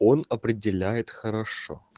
он определяет хорошо